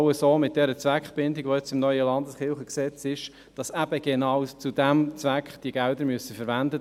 Dank der Zweckbindung, die im neuen Landeskirchengesetz steht, werden diese Mittel genau zu diesem Zweck verwendet.